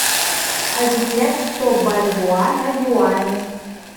обменять сто бальбоа на юани